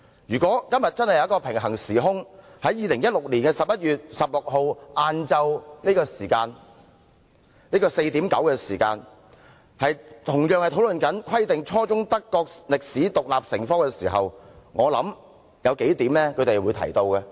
如果今天真的有一個平行時空，在2016年11月16日下午4時45分，德國人同樣正在討論"規定初中德國歷史獨立成科"時，我相信他們會提出數點。